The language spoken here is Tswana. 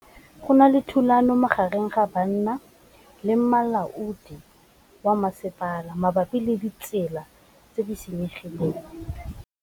Go na le thulanô magareng ga banna le molaodi wa masepala mabapi le ditsela tse di senyegileng.